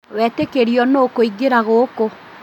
Wetĩkĩrio nũ kũingĩra gũkũ?